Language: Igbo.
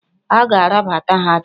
A ga-arabata ha taa!